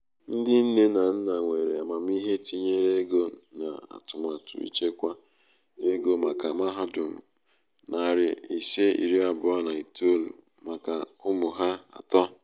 ndi nne um na nna nwere amamihe tinyere ego na atụmatụ ịchekwa ego maka mahadum nari ise iri abuo na itoou maka ụmụ ha atọ.